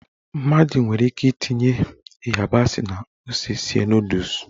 Mmadụ nwere ike itinye ịyabasị na ose sie nọdụs.